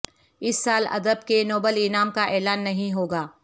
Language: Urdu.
اس سال ادب کے نوبل انعام کا اعلان نہیں ہوگا